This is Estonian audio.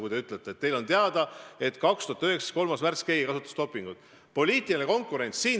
Kui te ütlete, et teile on teada, et 2019. aasta 3. märtsil keegi kasutas dopingut, siis tuleb sellest teatada.